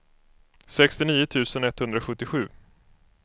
sextionio tusen etthundrasjuttiosju